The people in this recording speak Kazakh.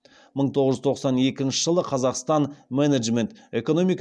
мың тоғыз жүз тоқсан екінші жылы қазақстан менеджмент экономика